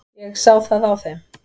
Ég sá það á þeim.